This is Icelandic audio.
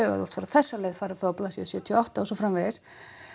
ef þú vilt fara þessa leið flettu þá á blaðsíðu sextíu og átta og svo framvegis